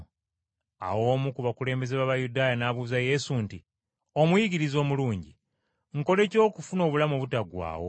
Awo omu ku bakulembeze b’Abayudaaya n’abuuza Yesu nti, “Omuyigiriza omulungi, nkole ki okufuna obulamu obutaggwaawo?”